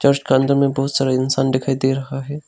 इसका अंदर में बहुत सारा इंसान दिखाई दे रहा है।